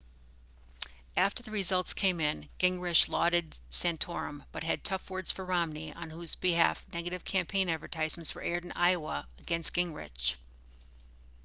after the results came in gingrich lauded santorum but had tough words for romney on whose behalf negative campaign advertisements were aired in iowa against gingrich